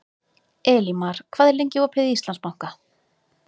Elímar, hvað er lengi opið í Íslandsbanka?